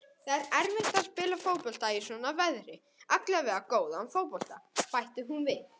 Það er erfitt að spila fótbolta í svona veðri, allavega góðan fótbolta, bætti hún við.